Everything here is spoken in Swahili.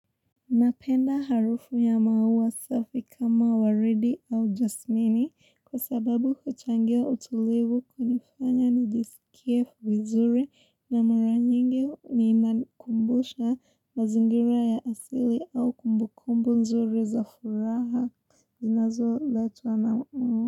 Napenda harufu ya maua safi kama waridi au jasmini kwa sababu uchangia utulivu kunifanya nijisikie vizuri na mara nyingi inakumbusha mazingira ya asili au kumbukumbu nzuri za furaha zinazo letwa anamu.